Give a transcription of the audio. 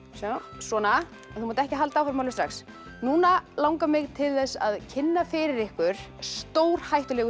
svona en þú mátt ekki halda áfram alveg strax núna langar mig til þess að kynna fyrir ykkur stórhættulegu